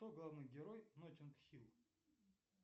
кто главный герой ноттинг хилл